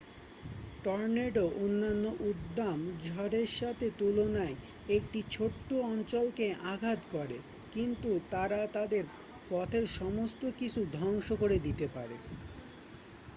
tornado অন্যান্য উদ্দাম ঝড়ের সাথে তুলনায় একটি ছোট্ট অঞ্চলকে আঘাত করে কিন্তু তারা তাদের পথের সমস্ত কিছু ধ্বংস করে দিতে পারে